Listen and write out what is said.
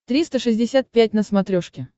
триста шестьдесят пять на смотрешке